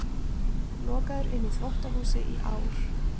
Lokaður inni í þvottahúsi í ár